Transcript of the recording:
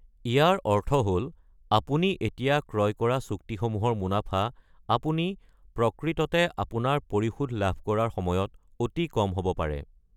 ইয়াৰ অৰ্থ হ'ল আপুনি এতিয়া ক্ৰয় কৰা চুক্তিসমূহৰ মুনাফা আপুনি প্ৰকৃততে আপোনাৰ পৰিশোধ লাভ কৰাৰ সময়ত অতি কম হ’ব পাৰে ।